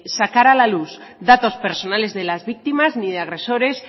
sacar a la luz datos personales de las víctimas ni de agresores